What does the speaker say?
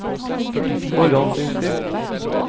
forhåndsinnstilt